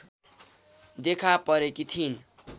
देखा परेकि थिइन्